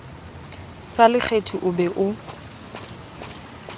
sa lekgethi o be o